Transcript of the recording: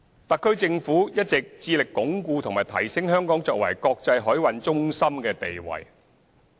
特區政府一直致力鞏固及提升香港作為國際海運中心的地位。